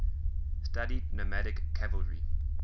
studied nomadic cavalry